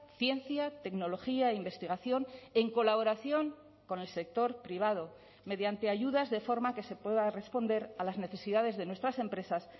ciencia tecnología e investigación en colaboración con el sector privado mediante ayudas de forma que se pueda responder a las necesidades de nuestras empresas